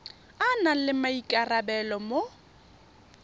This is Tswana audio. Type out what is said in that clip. a nang le maikarabelo mo